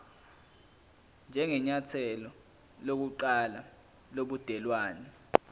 njengenyathelo lokuqala lobudelwane